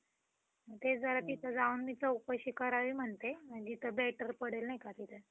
तेच जरा तिथे जाऊन मी चौकशी करावी म्हणते म्हणजे ते better पडेल नाही का तिथे.